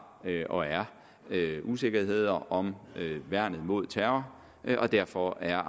og er usikkerheder om værnet mod terror derfor er